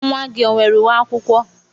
Nwa gị o nwere uwe akwụkwọ?